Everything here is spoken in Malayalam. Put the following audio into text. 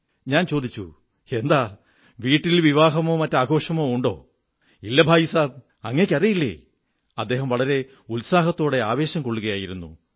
ഞാൻ ചോദിച്ചു എന്താ വീട്ടിൽ വിവാഹമോ മറ്റാഘോഷമോ ഉണ്ടോ ഇല്ല ഭായീ സാബ് അങ്ങയ്ക്കറിയില്ലേ അദ്ദേഹം വളരെ ഉത്സാഹത്തോടെ ആവേശം കൊള്ളുകയായിരുന്നു